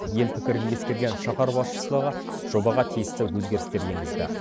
ел пікірін ескерген шаһар басшылығы жобаға тиісті өзгерістер енгізді